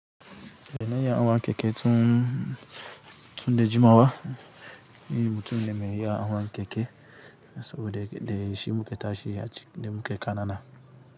Domin in ya wanke tun, tun da jimawa. Ni mutum ne mai yin yawon hawan keke saboda dai shi muke tashi da muke kana na.